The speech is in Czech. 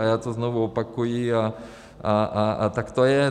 A já to znovu opakuji a tak to je.